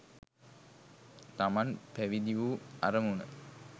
තමන් පැවිදි වූ අරමුණ